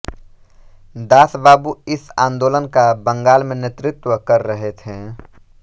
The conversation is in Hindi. दासबाबू इस आन्दोलन का बंगाल में नेतृत्व कर रहे थे